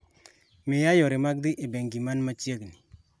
miya yore mag dhi e bengi man machiegni